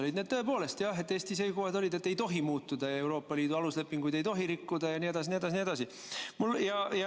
Jah, need olid tõepoolest Eesti seisukohad, et ei tohi muutuda, Euroopa Liidu aluslepinguid ei tohi rikkuda jne, june.